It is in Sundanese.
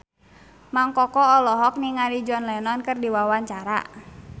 Mang Koko olohok ningali John Lennon keur diwawancara